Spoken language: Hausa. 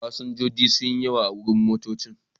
Fasinjoji sun yi yawa a wurin motoccin.